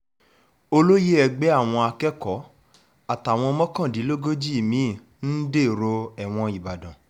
olóye ẹgbẹ́ àwọn akẹ́kọ̀ọ́ àtàwọn mọ́kàndínlógójì mi-ín dèrò ẹ̀wọ̀n nìbàdàn